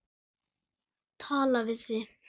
Tala við þig.